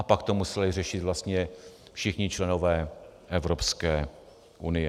A pak to museli řešit vlastně všichni členové Evropské unie.